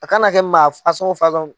A kana kɛ maa